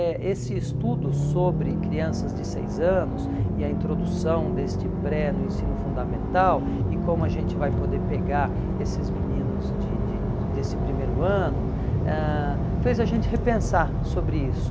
Eh esse estudo sobre crianças de seis anos e a introdução deste pré no ensino fundamental e como a gente vai poder pegar esses meninos de de desse primeiro ano, ãh fez a gente repensar sobre isso.